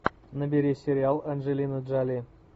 набери сериал анджелина джоли